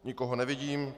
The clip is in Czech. Nikoho nevidím.